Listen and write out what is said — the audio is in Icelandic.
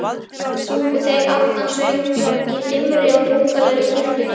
Sungu þeir aftansöng í dimmri og drungalegri kirkjunni.